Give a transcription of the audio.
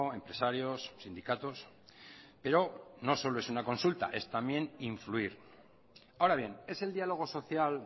empresarios sindicatos pero no solo es una consulta es también influir ahora bien es el diálogo social